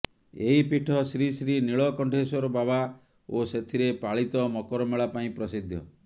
ଏହି ପୀଠ ଶ୍ରୀ ଶ୍ରୀ ନୀଳକଣ୍ଠେଶ୍ୱର ବାବା ଓ ସେଥିରେ ପାଳିତ ମକରମେଳା ପାଇଁ ପ୍ରସିଦ୍ଧ